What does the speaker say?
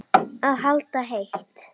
Að halda heit